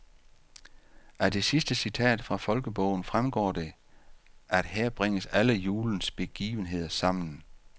Af det sidste citat fra folkebogen fremgår det, at her bringes alle julens begivenheder sammen.